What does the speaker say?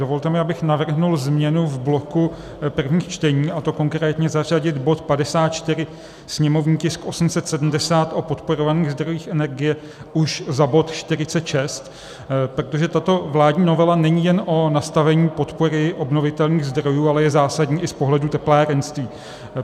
Dovolte mi, abych navrhl změnu v bloku prvních čtení, a to konkrétně zařadit bod 54, sněmovní tisk 870, o podporovaných zdrojích energie, už za bod 46, protože tato vládní novela není jen o nastavení podpory obnovitelných zdrojů, ale je zásadní i z pohledu teplárenství.